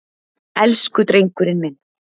Elsku drengurinn minn.